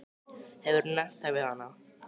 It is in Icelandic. Hefurðu nefnt það við hana?